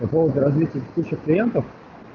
по поводу различных путях клиентов